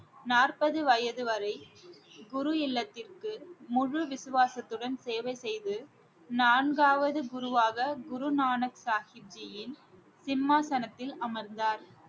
நாற்பது வயது வரை குரு இல்லத்திற்கு முழு விசுவாசத்துடன் சேவை செய்து நான்காவது குருவாக குரு நானக் சாஹிப் ஜியின் சிம்மாசனத்தில் அமர்ந்தார்